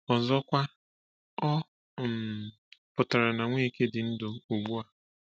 Ọzọkwa, ọ um pụtara na Nweke dị ndụ ugbu a.